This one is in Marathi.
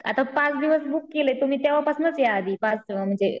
आता पाच दिवस बुक केलेत, तुम्ही तेव्ह्हा पसनच या आधी पाच म्हणजे